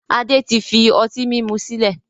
Adé tí fi ọtí mímu sílẹ̀